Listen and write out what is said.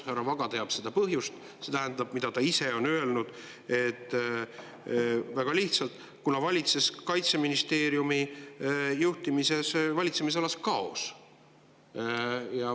Härra Vaga teab seda põhjust, ta ise on öelnud väga lihtsalt, et Kaitseministeeriumi juhtimises valitses kaos.